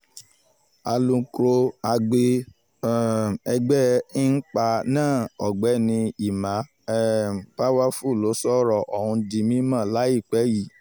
alukor agbe um ẹgbẹ́ inpa náà ọ̀gbẹ́ni emma um powerfull ló sọ̀rọ̀ ọ̀hún di mímọ́ láìpẹ́ yìí